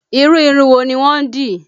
Irú irun wo ni wọ́n dì?